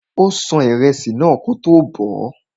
Ó ṣan ìrẹsì náà kótó bọ̀ọ́.